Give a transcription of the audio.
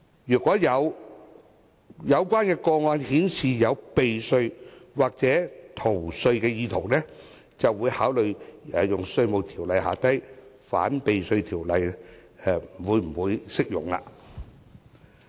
如果有關個案顯示有避稅或逃稅意圖，局方則會考慮《稅務條例》下的反避稅條文是否適用。